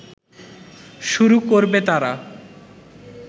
শুরু করবে তারা